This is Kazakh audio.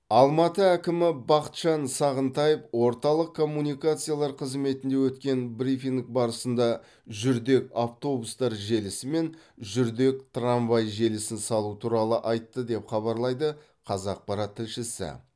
алматы әкімі бақытжан сағынтаев орталық коммуникациялар қызметінде өткен брифинг барысында жүрдек автобустар желісі мен жүрдек трамвай желісін салу туралы айтты деп хабарлайды қазақпарат тілшісі